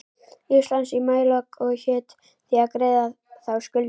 Íslands í maílok og hét því að greiða þá skuldina.